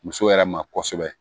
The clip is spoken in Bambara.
Muso yɛrɛ ma kosɛbɛ